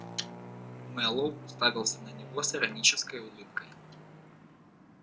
мэллоу уставился на него с иронической улыбкой